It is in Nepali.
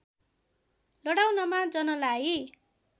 लडाउनमा जनलाई